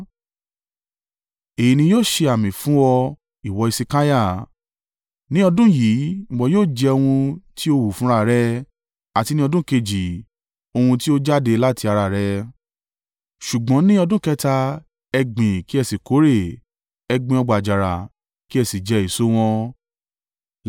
“Èyí ni yóò ṣe àmì fún ọ, ìwọ Hesekiah: “Ní ọdún yìí, ìwọ yóò jẹ ohun tí ó hù fúnra rẹ̀, àti ní ọdún kejì ohun tí ó jáde láti ara rẹ. Ṣùgbọ́n ní ọdún kẹta, ẹ gbìn kí ẹ sì kórè, ẹ gbin ọgbà àjàrà kí ẹ sì jẹ èso wọn.